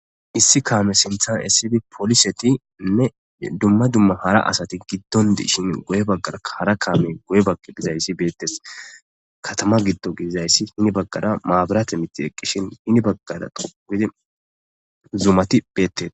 Issi came sinte esidi polisetnne duma duma hara asati gidon dishin guye bagaraka hara kame guye baga gizaysi betes Katama gido gididaysi hini bagara mabrate mithi eqishin hini bagara shiqidi zumati betetes.